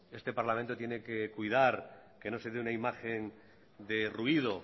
este parlamento tiene que cuidar que no se dé una imagen de ruido